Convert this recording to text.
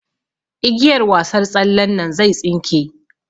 Igiyar wasar tsallen nan zai tsinke.